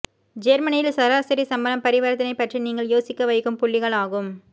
ஜேர்மனியில் சராசரி சம்பளம் பரிவர்த்தனை பற்றி நீங்கள் யோசிக்க வைக்கும் புள்ளிகள் ஆகும்